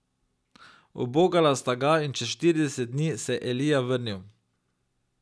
Ubogala sta ga in čez štirideset dni se je Elija vrnil.